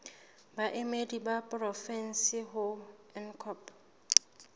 baemedi ba porofensi ho ncop